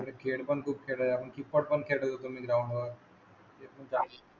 खेळ पण खूप आपण